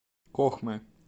кохмы